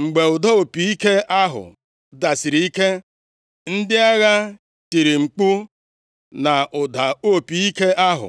Mgbe ụda opi ike ahụ dasiri ike, ndị agha tiri mkpu, na ụda opi ike ahụ.